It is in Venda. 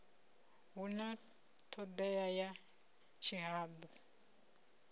hu na thodea ya tshihadu